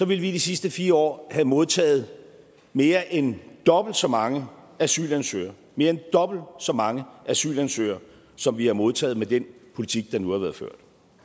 vi de sidste fire år have modtaget mere end dobbelt så mange asylansøgere mere end dobbelt så mange asylansøgere som vi har modtaget med den politik der nu har været ført